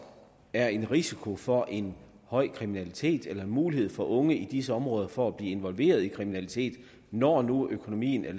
er en risiko for en høj kriminalitet eller en mulighed for unge i disse områder for at blive involveret i kriminalitet når nu økonomien er